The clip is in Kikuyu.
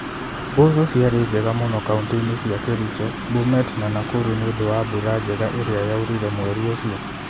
Mboco ciarĩ njega mũno kaũntĩ-inĩ cia Kericho, Bomet na Nakuru nĩ ũndũ wa mbura njega iria yaurire mweri ũcio.